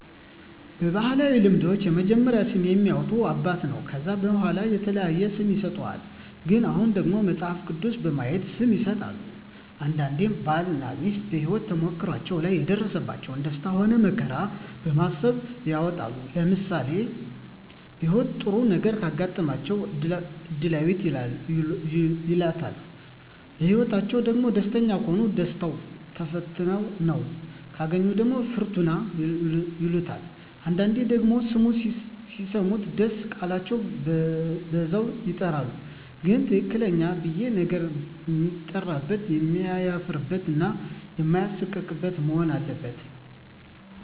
በባህላዊ ልምዶች የመጀመሪያውን ስም የሚያወጣ አባት ነው ከዛ በዋላ የተለያየ ስም ይሰጥሃል ግን አሁን ደግሞ መጸሀፍ ቅዱስ በማየት ስም ይሠጣል አንዳንዴም ባል እና ሜስት በሄወት ተሞክሮዎች ላይ የደረሰባቸው ደስታ ሆነ መከራ በማሰብ ይወጣል ለምሳሌ በህይወታቸው ጥሩ ነገረ ካጋጠማቸው እድላዌት ይላታል በህይወትአቸዉ ደግሞ ደስተኛ ከሆኑ ደስታው ተፈትነው ካገኛት ደግሞ ፍርቱና ይላታል አንዳንዴ ደግሞ ስሙ ሲሰሙት ደስ ቃላቸው በዛም ይጠራሉ ግን ትክክለኛው ብየ ነገ ሲጠራበት የማያፍርበት እና ማይሳቀቅበት መሆን አለበት